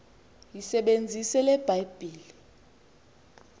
yisebenzise le bhayibhile